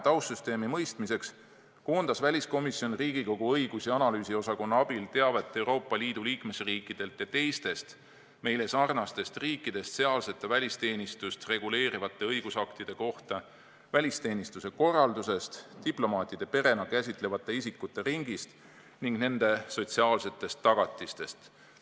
Taustsüsteemi paremaks mõistmiseks koondas väliskomisjon Riigikogu õigus- ja analüüsiosakonna abil teavet Euroopa Liidu liikmesriikidelt ja teistest meile sarnastest riikidest sealsete välisteenistust reguleerivate õigusaktide kohta, välisteenistuse korraldusest, diplomaatide perena käsitatavate isikute ringist ning nende sotsiaalsetest tagatistest.